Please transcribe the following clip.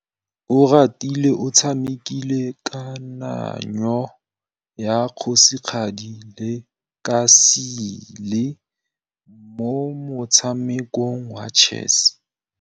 Oratile o tshamekile kananyô ya kgosigadi le khasêlê mo motshamekong wa chess.